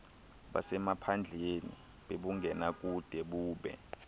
basemaphandleni bebungenakude bube